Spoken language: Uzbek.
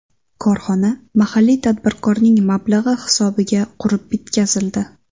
Korxona mahalliy tadbirkorning mablag‘i hisobiga qurib bitkazildi.